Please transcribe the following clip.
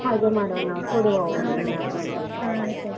ಹಾಗೆ ಮಾಡುವ ನಾವು, ಅವಳಿಗೆ ಏನಾದ್ರು ಒಂದು .